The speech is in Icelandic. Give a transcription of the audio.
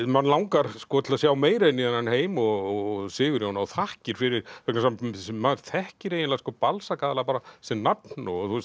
mann langar til að sjá meira inn í þennan heim og Sigurjón á þakkir fyrir vegna þess að maður þekkir eiginlega Balzac bara sem nafn og